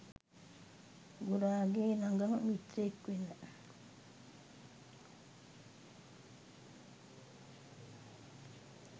ගුරාගෙ ළඟම මිත්‍රයෙක් වෙන